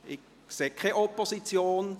– Ich sehe keine Opposition.